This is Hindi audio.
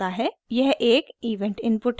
यह एक इवेंट इनपुट है